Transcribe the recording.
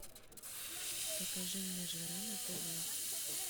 покажи мне жара на тв